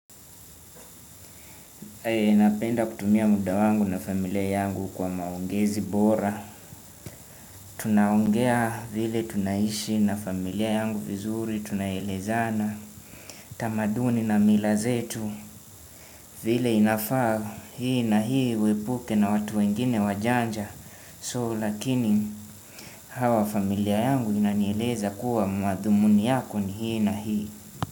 Napenda kutumia muda wangu na familia yangu kwa maongezi bora. Tunaongea vile tunaishi na familia yangu vizuri tunaelezana. Tamaduni na milazetu vile inafaa hii na hii wepuke na watu wengine wajanja So lakini hawa familia yangu inanieleza kuwa mazumuni yako ni hii na hii.